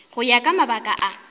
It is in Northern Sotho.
go ya ka mabaka a